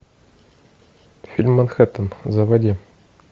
фильм манхеттен заводи